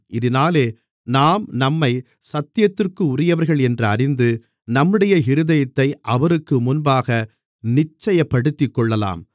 இதினாலே நாம் நம்மைச் சத்தியத்திற்குரியவர்கள் என்று அறிந்து நம்முடைய இருதயத்தை அவருக்கு முன்பாக நிச்சயப்படுத்திக்கொள்ளலாம்